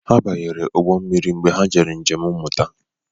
Ha banyere ụgbọ mmiri mgbe ha jere njem mmuta